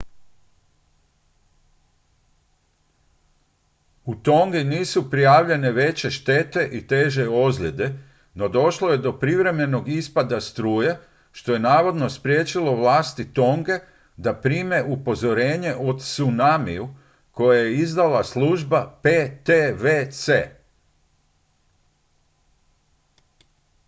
u tongi nisu prijavljene veće štete i teže ozljede no došlo je do privremenog ispada struje što je navodno spriječilo vlasti tonge da prime upozorenje o tsunamiju koje je izdala služba ptwc